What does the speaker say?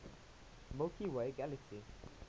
milky way galaxy